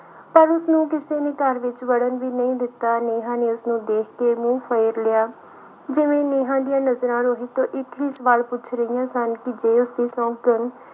ਪਰ ਉਸਨੂੰ ਕਿਸੇ ਨੇ ਘਰ ਵਿੱਚ ਵੜਨ ਵੀ ਨਹੀਂ ਦਿੱਤਾ, ਨੇਹਾਂ ਨੂੰ ਉਸਨੂੂੰ ਦੇਖ ਕੇ ਮੂੰਹ ਫੇਰ ਲਿਆ, ਜਿਵੇਂ ਨੇਹਾਂ ਦੀਆਂ ਨਜ਼ਰਾਂ ਰੋਹਿਤ ਤੋਂ ਇੱਕ ਹੀ ਸਵਾਲ ਪੁੱਛ ਰਹੀਆਂ ਸਨ ਕਿ ਜੇ ਉਸਦੀ ਸੌਂਕਣ